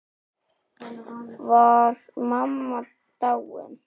Var mamma dáin?